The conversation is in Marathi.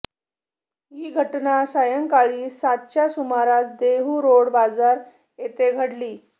ही घटना सायंकाळी सातच्या सुमारास देहूरोड बाजार येथे घडली